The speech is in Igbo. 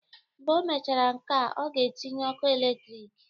Mgbe o mechara nkea, ọ ga-etinye ọku eletrik